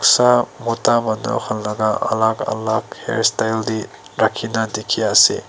sob mota mota hon laga alag alag hair style te rakhi na dekhi ase.